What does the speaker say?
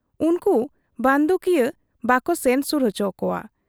ᱩᱱᱠᱩ ᱵᱟᱺᱫᱩᱠᱤᱭᱟᱹ ᱵᱟᱠᱚ ᱥᱮᱱ ᱥᱩᱨ ᱚᱪᱚ ᱠᱚᱣᱟ ᱾